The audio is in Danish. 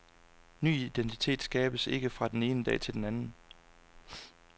Ny identitet skabes ikke fra den ene dag til den anden.